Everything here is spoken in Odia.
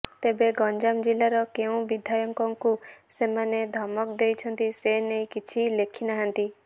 ତେବେ ଗଞ୍ଜାମ ଜିଲ୍ଲାର କେଉଁ ବିଧାୟକଙ୍କୁ ସେମାନେ ଧମକ ଦେଇଛନ୍ତି ସେ ନେଇ କିଛି ଲେଖିନାହାନ୍ତି